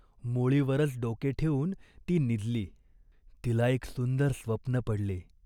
मोळीवरच डोके ठेवून ती निजली. तिला एक सुंदर स्वप्न पडले.